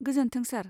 गोजोन्थों, सार